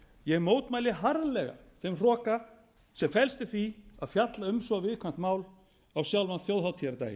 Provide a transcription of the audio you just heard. ég mótmæli harðlega þeim hroka sem felst í því að fjalla um svo viðkvæmt mál á sjálfan þjóðhátíðardaginn